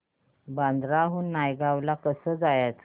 बांद्रा हून नायगाव ला कसं जायचं